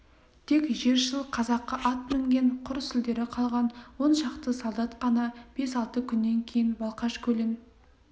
тек жершіл қазақы ат мінген құр сүлдері қалған он шақты солдат қана бес-алты күн өткеннен кейін балқаш көлін